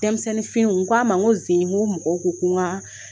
Denmisɛnninw n k'a ma ko nin sen in n ko mɔgɔw ko ko n ka